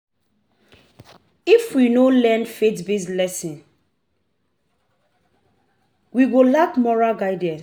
If we no learn faith-based lessons, we go lack moral guidance.